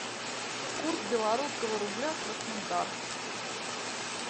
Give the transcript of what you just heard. курс белорусского рубля краснодар